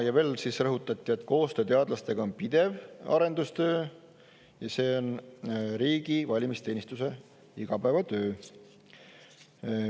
Ja veel rõhutati, et koostöö teadlastega on pidev arendustöö ja see on riigi valimisteenistuse igapäevatöö.